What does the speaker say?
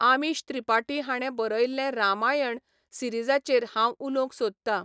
आमीश त्रिपाटी हाणें बरयल्लें रामायण सिरिजाचेर हांव उलोवंक सोदतां.